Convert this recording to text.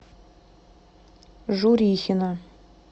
журихина